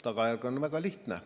Tagajärg on väga lihtne.